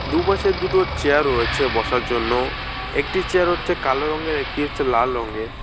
দু'পাশে দুটো চেয়ার রয়েছে বসার জন্য একটি চেয়ার হচ্ছে কালো রঙের একটি হচ্ছে লাল রঙের।